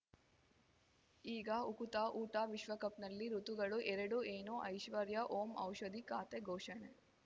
ಈಗ ಉಕುತ ಊಟ ವಿಶ್ವಕಪ್‌ನಲ್ಲಿ ಋತುಗಳು ಎರಡು ಏನು ಐಶ್ವರ್ಯಾ ಓಂ ಔಷಧಿ ಖಾತೆ ಘೋಷಣೆ